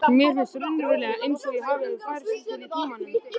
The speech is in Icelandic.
Mér finnst raunverulega einsog ég hafi færst til í tímanum.